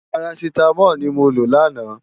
Párásitámòl ni mó ló làná